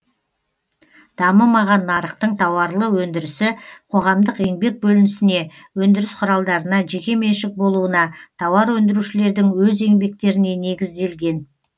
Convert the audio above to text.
дамымаған нарықтың тауарлы өндірісі қоғамдық еңбек бөлінісіне өндіріс құралдарына жеке меншік болуына тауар өндірушілердің өз еңбектеріне негізделген